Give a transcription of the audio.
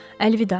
Əlvida.